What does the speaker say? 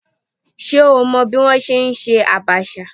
Ṣé o mọ bí wọ́n ṣe ń ṣe Abacha?